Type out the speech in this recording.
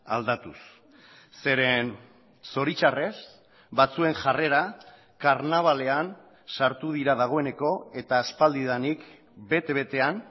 aldatuz zeren zoritzarrez batzuen jarrera karnabalean sartu dira dagoeneko eta aspaldidanik bete betean